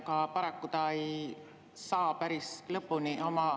Aga paraku ta ei saa oma vastust päris lõpule viia.